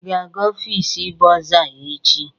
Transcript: Ị ga-aga ọfịs bọrzà echi?